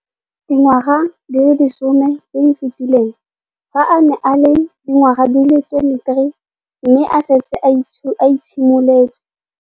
Dingwaga di le 10 tse di fetileng, fa a ne a le dingwaga di le 23 mme a setse a itshimoletse.